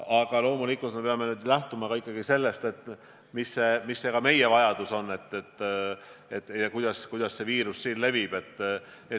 Aga loomulikult peame nüüd lähtuma ikkagi ka sellest, milline on meie enda vajadus ja kuidas see viirus siin levib.